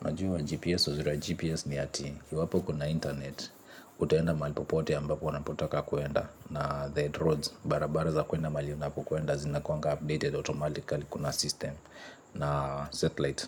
Unajua GPS, uzuri wa GPS ni ati iwapo uko na internet utaenda mahali popote ambako unapotaka kuenda, na the roads, barabara za kuenda mahali unapokuenda zinakuanga updated automatically kuna system na satellite.